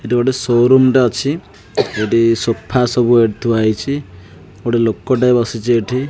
ଏଠି ଗୋଟେ ଶୋରୁମ ଟେ ଅଛି ଏଠି ସୋଫା ସବୁ ଏଠି ଥୁଆହେଇଛି ଗୋଟେ ଲୋକଟେ ବସିଚି ଏଠି।